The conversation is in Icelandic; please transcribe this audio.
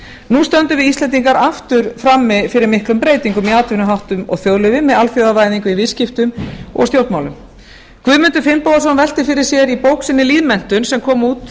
nú stöndum við íslendingar aftur frammi fyrir miklum breytingum í atvinnuháttum og þjóðlífi með alþjóðavæðingu í viðskiptum og stjórnmálum guðmundur finnbogason velti fyrir sér í bók sinni lýðmenntun sem kom út